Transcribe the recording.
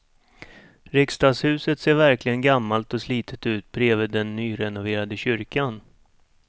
Riksdagshuset ser verkligen gammalt och slitet ut bredvid den nyrenoverade kyrkan.